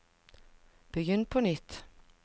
begynn på nytt